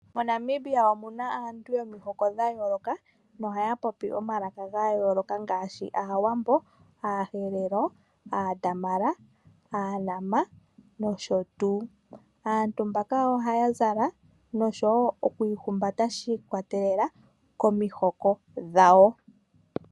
MoNamibia omuna aantu yomihoko dhayoloka no haya popi omalaka gayoloka ngaashi Aawambo, aaHerero, aaDamara, aaNama nosho tuu. Aantu mbaka ohaya zala nosho woo okwiihumbata shiikwatelela komihoko dhawo.